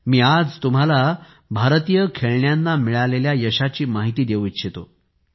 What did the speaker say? मी आज तुम्हांला भारतीय खेळण्यांना मिळालेल्या यशाची माहिती देऊ इच्छितो